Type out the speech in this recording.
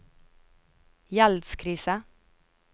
gjeldskrise